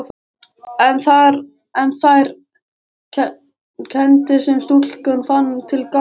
En þær kenndir sem stúlkan fann til gagnvart